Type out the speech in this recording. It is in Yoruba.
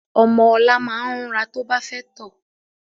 Ọmọ ọ̀la máa ń rúnra to bá fẹ́ tọ̀